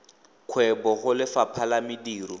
kgwebo go lefapha la mediro